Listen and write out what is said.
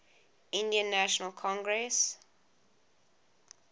indian national congress